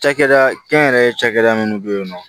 Cakɛda kɛnyɛrɛye cakɛda minnu bɛ yen nɔ